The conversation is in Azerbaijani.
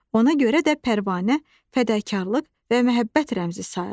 Ona görə də pərvanə fədakarlıq və məhəbbət rəmzi sayılır.